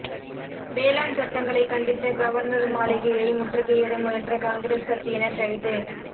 வேளாண் சட்டங்களை கண்டித்து கவர்னர் மாளிகையை முற்றுகையிட முயன்ற காங்கிரஸ் கட்சியினர் கைது